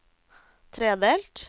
tredelt